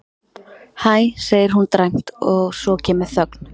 Hæ, segir hún dræmt og svo kemur þögn.